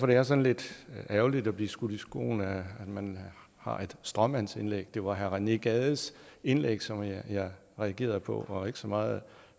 det er sådan lidt ærgerligt at blive skudt i skoene at man har et stråmandsindlæg det var herre rené gades indlæg som jeg reagerede på og ikke så meget